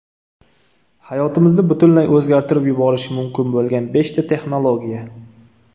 Hayotimizni butunlay o‘zgartirib yuborishi mumkin bo‘lgan beshta texnologiya.